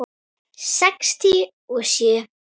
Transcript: Sextíu og sjö.